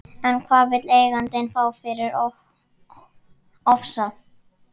En hvað vill eigandinn fá fyrir Ofsa?